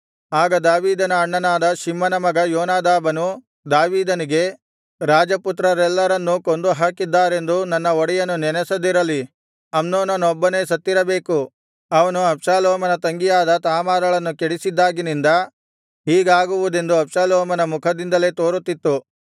ಆಗ ದಾವೀದನ ಅಣ್ಣನಾದ ಶಿಮ್ಮನ ಮಗ ಯೋನಾದಾಬನು ದಾವೀದನಿಗೆ ರಾಜಪುತ್ರರೆಲ್ಲರನ್ನೂ ಕೊಂದು ಹಾಕಿದ್ದಾರೆಂದು ನನ್ನ ಒಡೆಯನು ನೆನಸದಿರಲಿ ಅಮ್ನೋನನೊಬ್ಬನೇ ಸತ್ತಿರಬೇಕು ಅವನು ಅಬ್ಷಾಲೋಮನ ತಂಗಿಯಾದ ತಾಮಾರಳನ್ನು ಕೆಡಿಸಿದ್ದಾಗಿನಿಂದ ಹೀಗಾಗುವುದೆಂದು ಅಬ್ಷಾಲೋಮನ ಮುಖದಿಂದಲೇ ತೋರುತ್ತಿತ್ತು